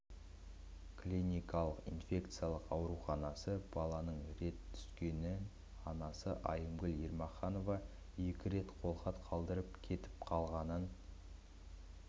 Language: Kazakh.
клиникалық инфекциялық ауруханасы баланың рет түскенін анасы айымгүл ермаханова екі рет қолхат қалдырып кетіп қалғанын